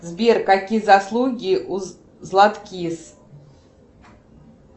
сбер какие заслуги у златкис